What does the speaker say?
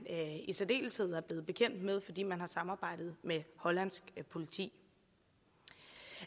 i særdeleshed er blevet bekendt med fordi man har samarbejdet med hollandsk politi